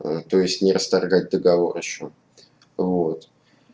ээ то есть не расторгать договор ещё вот